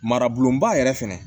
Maraboloba yɛrɛ fɛnɛ